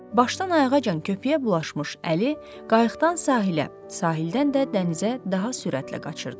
Başdan-ayağacan köpüyə bulaşmış Əli, qayıqdan sahilə, sahildən də dənizə daha sürətlə qaçırdı.